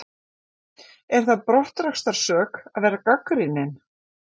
Er það brottrekstrarsök að vera gagnrýninn?